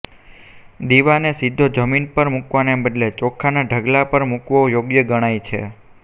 દીવાને સીધો જમીન પર મુકવાને બદલે ચોખાના ઢગલા પર મુકવો યોગ્ય ગણાય છે